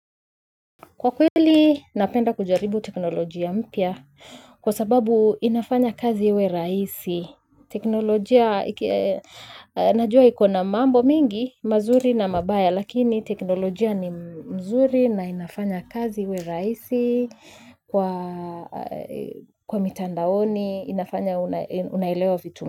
Kwa kweli, napenda kujaribu teknolojia mpya kwa sababu inafanya kazi iwe rahisi. Teknolojia, najua ikona mambo mingi, mazuri na mabaya, lakini teknolojia ni mzuri na inafanya kazi iwe rahisi kwa kwa mitandaoni, inafanya unaelewa vitu.